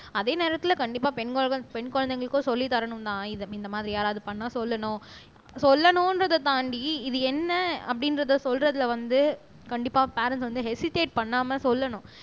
அதே நேரத்துல கண்டிப்பா பெண் பெண் குழந்தைகளுக்கும் சொல்லித் தரணும்னு இந்த மாதிரி யாராவது பண்ணா சொல்லணும் சொல்லணுன்றத தாண்டி இது என்ன அப்படின்றத சொல்றதுல வந்து கண்டிப்பா பேரன்ட்ஸ் வந்து ஹெசிட்டேட் பண்ணாம சொல்லணும்